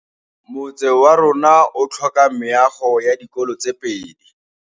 Motse warona o tlhoka meago ya dikolô tse pedi.